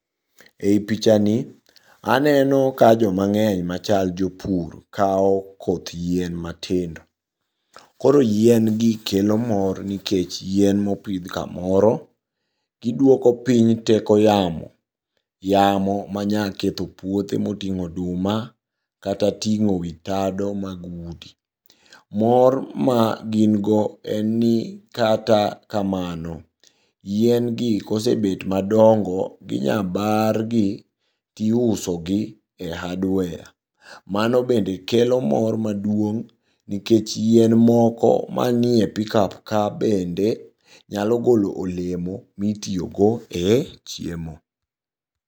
Ei pichani aneno ka joma ng'eny machal jopur kao koth yien matindo, koro yien gi kelo mor nikech yien mopidh kamoro giduoko piny teko yamo. Yamo manya ketho puoche moting'o oduma kata ting'o wi dato mag udi. Mor ma gin go en ni kata kamano, yien gi kosebet madongo ginyabar gi tiusogi e hardware. Mano bende kelo mor maduong' nikech yien moko manie pickup ka bende nyalo golo olemo mitiyogo e chiemo.